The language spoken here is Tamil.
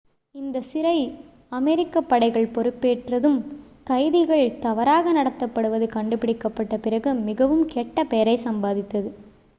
இந்தச் சிறை அமெரிக்க படைகள் பொறுப்பேற்றதும் கைதிகள் தவறாக நடத்தப்படுவது கண்டுபிடிக்கப்பட்ட பிறகு மிகவும் கெட்ட பெயரை சம்பாதித்தது